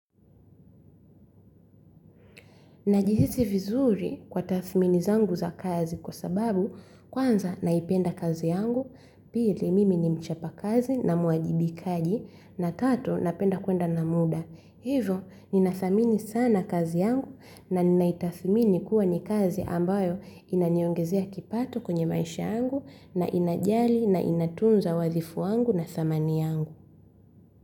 Najihisi vizuri kwa tathmini zangu za kazi kwa sababu kwanza, naipenda kazi yangu, pili mimi ni mchapa kazi na muajibikaji na tatu, napenda kwenda na muda. Hivo ninathamini sana kazi yangu na ninaitathmini kuwa ni kazi ambayo inaniongezea kipato kwenye maisha yangu na inajali na inatunza wadhifu yangu na dhamani yangu.